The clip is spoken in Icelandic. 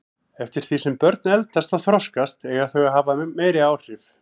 Eftir því sem börn eldast og þroskast eiga þau að hafa meiri áhrif.